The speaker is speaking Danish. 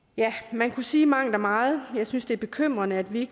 man kan sige mangt og meget jeg synes det er bekymrende at vi